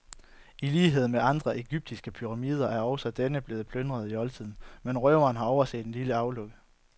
I lighed med andre egyptiske pyramider er også denne blevet plyndret i oldtiden, men røverne har overset det lille aflukke.